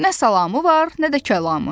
Nə salamı var, nə də kəlamı.